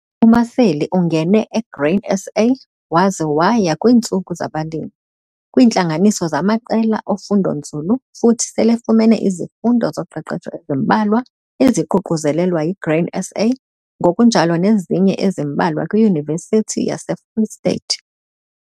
UMaseli ungene eGrain SA waze waya kwiintsuku zabalimi, kwiintlanganiso zamaqela ofundonzulu futhi selefumene izifundo zoqeqesho ezimbalwa eziququzelelwa yiGrain SA ngokunjalo nezinye ezimbalwa kwiYunivesithi yaseFree State.